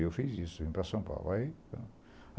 E eu fiz isso, vim para São Paulo. Aí